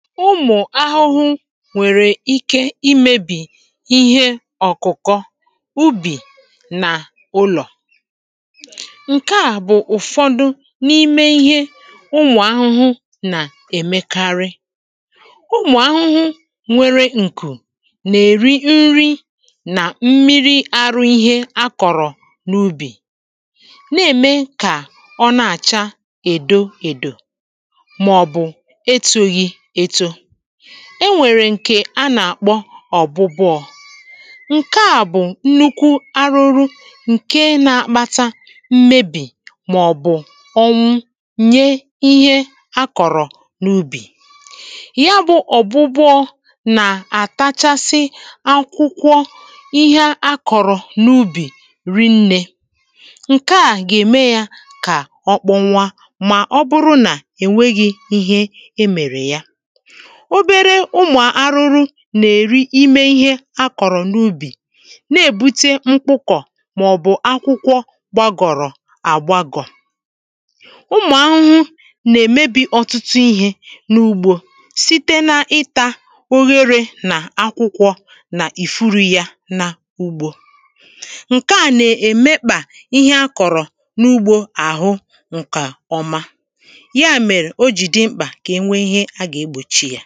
ụmụ̀ ahụhụ wèrè ike imēbì ihe ọ̀kụ̀kọ ubì nà ụlọ̀ ǹke à bụ̀ ụ̀fọdụ n’ime ihe ụmụ̀ ahụhụ nà-èmekarị ụmụ̀ ahụhụ nwere ǹkù nà-èri nri nà mmiri arụ ihe a kọ̀rọ̀ n’ubì na-ème kà ọ na-àcha èdo èdò màọ̀bụ̀ etōghī eto e nwèrè ǹkè a na-àkpọ ọ̀gbụgbụọ̄ ǹke à bụ nnukwu arụrụ ǹke na-akpata mmebì màọ̀bụ̀ ọnwụ nye ihe a kọ̀rọ̀ n’ubì já bʊ̄ ɔ̀gbʊ́gbʊ́ɔ́ nà-àtachasị akwụkwọ ihe a kọ̀rọ̀ n’ubì ri nnē ǹke à gà-ème yā kà ọ kpụnwa màọbụrụ nà ènweghi ihe emèrè ya obere ụmụ arụrụ nà-èri ime ihe a kọ̀rọ̀ n’ubì na-èbute mkpụkọ màọ̀bụ̀ akwụkwọ gbagọ̀rọ̀ àgbagọ̀ ụmụ̀ ahụhụ nà-èmebī ọtụtụ ihē n’ugbō site na ịtā ogherē n’àkwụkwọ̄ nà ìfurū yā ǹke à nà-èmekpà ihe akọ̀rọ̀ n’ugbō àhụ ǹkè ọma